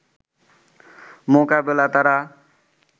মোকাবেলায় তারা